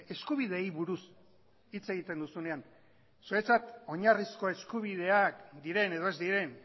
eskubideei buruz hitz egiten duzunean zuretzat oinarrizko eskubideak diren edo ez diren